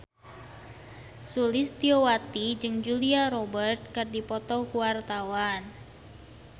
Sulistyowati jeung Julia Robert keur dipoto ku wartawan